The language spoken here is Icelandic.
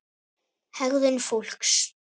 HEGÐUN FÓLKS